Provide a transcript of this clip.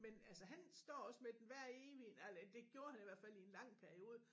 Men altså han står også med den hver evig ah det gjorde han i hvert fald i en lang periode